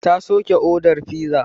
Ta soke odar fizar.